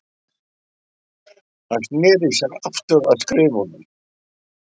Hann sneri sér aftur að skriftunum.